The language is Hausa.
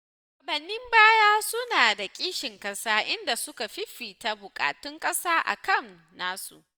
Shugabannin baya suna da kishin ƙasa, inda suka fifita buƙatun ƙasa a kan nasu.